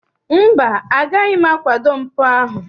Mba, agaghị m akwado mpụ ahụ.